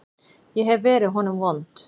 Ég hef verið honum vond.